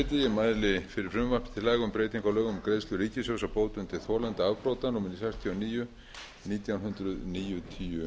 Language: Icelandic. laga um breytingu á lögum um greiðslu ríkissjóðs á bótum til þolenda afbrota númer sextíu og níu nítján hundruð níutíu